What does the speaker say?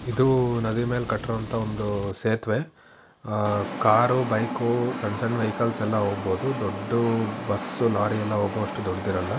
ಇದು ನದಿ ಮೇಲೆ ಕಟ್ಟಿರೋ ಅಂತ ಒಂದು ಸೇತುವೆ ಆ ಕಾರು ಬೈಕ್ ಸಣ್ಣ ಸಣ್ಣ ವೆಹಿಕಲ್ಸ್ ಎಲ್ಲ ಹೋಗಬಹುದು ದೊಡ್ಡ ಬಸ್ ಲೋರಿ ಎಲ್ಲ ಹೋಗೋ ಅಷ್ಟು ದೊಡ್ಡದಿರಲ್ಲ.